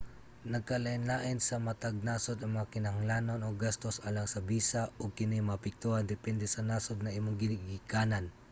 nagkalain-lain sa matag nasod ang mga kinahanglanon ug gastos alang sa bisa ug kini maapektuhan depende sa nasod na imong gigikanan